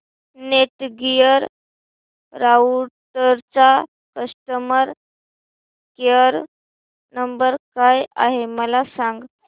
Netgear राउटरचा customer care number काय आहे मला सांग